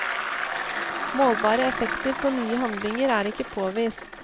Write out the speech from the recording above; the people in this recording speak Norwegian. Målbare effekter på nye handlinger er ikke påvist.